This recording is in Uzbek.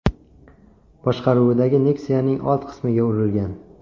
boshqaruvidagi Nexia’ning old qismiga urilgan.